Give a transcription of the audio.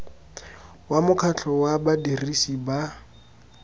wa mokgatlho wa badirisi ba